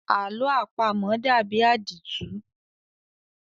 Àlọ́ àpamọ dàbí àdìtú.